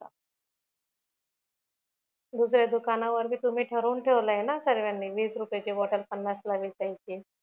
दुसऱ्या दुकानावर्ती तुम्ही ठरून ठेवलयना सर्वांनी वीस रुपयाची बॉटल पन्नास ला विकायची